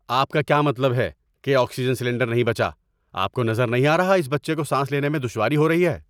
آپ کا کیا مطلب ہے کہ آکسیجن سلنڈر نہیں بچا؟ آپ کو نظر نہیں آ رہا اس بچے کو سانس لینے میں دشواری ہو رہی ہے؟